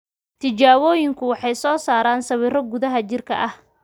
Tijaabooyinku waxay soo saaraan sawirro gudaha jidhka ah.